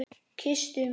Kysstu mig!